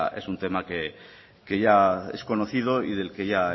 es un tema que ya es conocido y del que ya